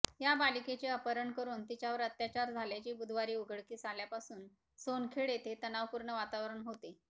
या बालिकेचे अपहरण करून तिच्यावर अत्याचार झाल्याचे बुधवारी उघडकीस आल्यापासून सोनखेड येथे तणावपूर्ण वातावरण होते